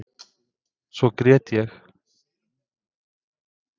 Svo grét ég.